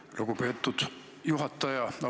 Aitäh, lugupeetud juhataja!